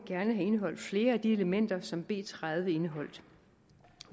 gerne have indeholdt flere af de elementer som b tredive indeholdt